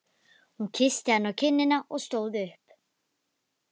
Hún kyssti hann á kinnina og stóð upp.